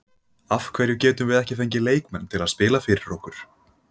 Af hverju getum við ekki fengið leikmenn til að spila fyrir okkur?